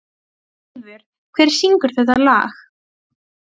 En Lena kærir sig ekkert um skynsemi.